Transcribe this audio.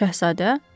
Şəhzadə?